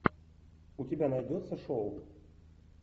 у тебя найдется шоу